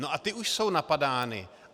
No a ty už jsou napadány.